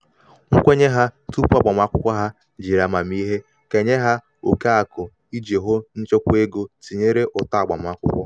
nkwenye ha tupu agbamakwụkwọ ha jiri amamiihe kenye ha oke akụ iji hụ maka nchebe ego tinyere ụtọ agbamakwụkwọ. ụtọ agbamakwụkwọ.